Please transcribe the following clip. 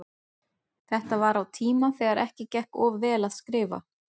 Þetta var á tíma þegar ekki gekk of vel að skrifa.